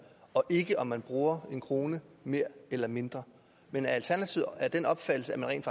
og ikke om man bruger en krone mere eller mindre men er alternativet af den opfattelse at man rent